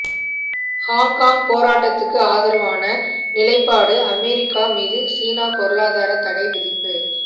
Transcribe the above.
Hong Kong போராட்டத்துக்கு ஆதரவான நிலைப்பாடுஅமெரிக்கா மீது சீனா பொருளாதாரத் தடை விதிப்பு